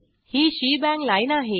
ही shebang line आहे